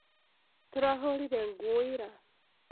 Tũrahũrire nguo ira